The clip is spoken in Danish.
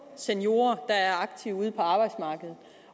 seniorer der er aktive ude på arbejdsmarkedet